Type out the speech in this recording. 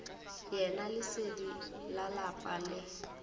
yena lesedi la lapa le